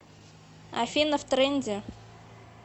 афина в тренде